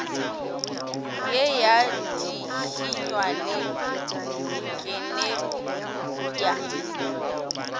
ye ya dihinya le dikenepša